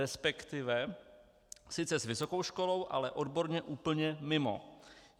Respektive sice s vysokou školou, ale odborně úplně mimo.